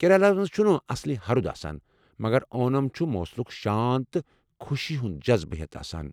کیرالہ ہَس مَنٛز چھُنہٕ اصلی ہرُد آسان، مگر اونم چھُ موسمُک شانت تہٕ خوشی ہُند جزبہٕ ہیتھ آسان ۔